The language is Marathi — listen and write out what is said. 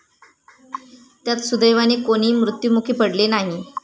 त्यात सुदैवाने कोणी मृत्युमुखी पडले नाही.